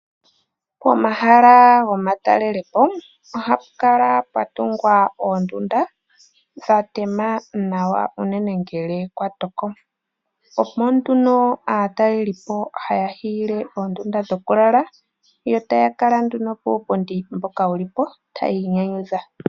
Pomahala gomatalelepo ohapu kala puna oondunda dhatema nawa unene ngele kwatoko. Aatalelipo omo haya hiile oondunda dho kulala, yo taya kala puupundi mbono wulipo tayi inyanyudha.